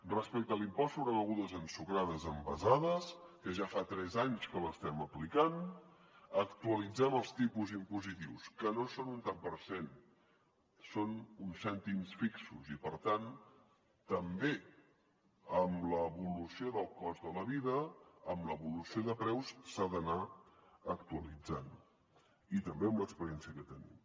respecte a l’impost sobre begudes ensucrades envasades que ja fa tres anys que l’estem aplicant actualitzem els tipus impositius que no són un tant per cent són uns cèntims fixos i per tant també amb l’evolució del cost de la vida amb l’evolució de preus s’ha d’anar actualitzant i també amb l’experiència que tenim